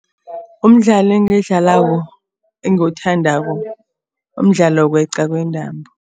Umdlalo engiwudlalako, engiwuthandako mdlalo wokweqa kwentambo.